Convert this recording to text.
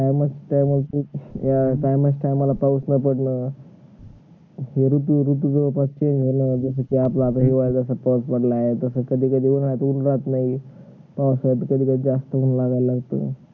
हो रे तुझी आज ची मला जस कि आपल आजच पावूस पडला आहे तस कधी कधी रात लागली तास वाटत कधी कधी जास्त होवू लागाला लागत